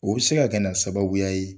U bɛ se ka kɛ na sababuya ye.